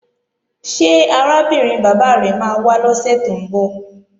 Ṣé arábìnrin bàbá rẹ máa wá lọ́sè tó ń bọ̀?